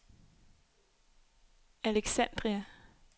Alexandria